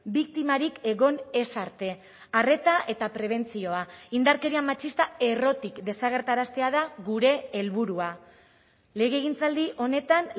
biktimarik egon ez arte arreta eta prebentzioa indarkeria matxista errotik desagerraraztea da gure helburua legegintzaldi honetan